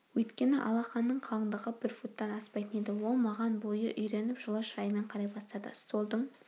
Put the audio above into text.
өйткені алақанның қалыңдығы бір футтан аспайтын еді ол маған бойы үйреніп жылы шыраймен қарай бастады столдың